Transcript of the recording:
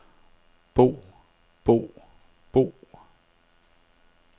bo bo bo